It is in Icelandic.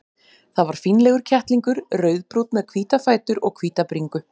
Það var fínlegur kettlingur, rauðbrúnn með hvíta fætur og hvíta bringu.